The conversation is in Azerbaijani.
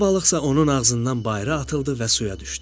Riza balıqsa onun ağzından bayıra atıldı və suya düşdü.